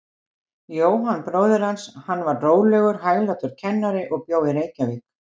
Jóhann bróðir hans, hann var rólegur, hæglátur kennari og bjó í Reykjavík.